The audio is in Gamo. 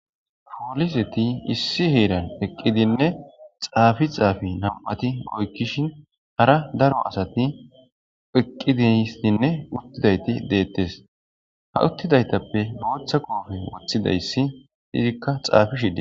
pooliseti issi heeran eqqidinne xaafi xaafi nam'ati oykkishin hara daro asati eqqidiyisinne uttidayti deettes ha uttidaytappe booththa koofe woththidayssi izikka xafishe de'es